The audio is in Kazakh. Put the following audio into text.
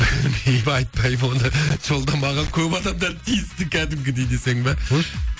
айтпаймын оны жолда маған көп адамдар тиісті кәдімгідей десең бе қойшы